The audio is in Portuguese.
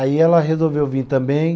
Aí ela resolveu vir também.